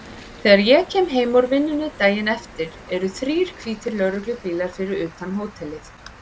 Þegar ég kem heim úr vinnunni daginn eftir eru þrír hvítir lögreglubílar fyrir utan hótelið.